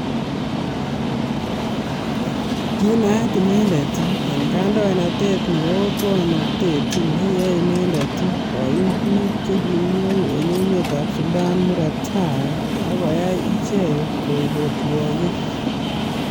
Kiinaat inendet en kaindoinatet nebo otwoknatet nekiyai inendet koyum bik chekimweu en emetab Sudan murot tai ak koyai ichekk koek otwogik.